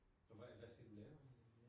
Så hvad hvad skal du lave i Milano?